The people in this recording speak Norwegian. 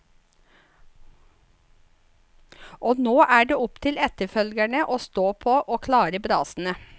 Så nå er det opp til etterfølgerne å stå på og klare brasene.